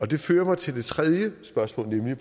det fører mig til det tredje spørgsmål nemlig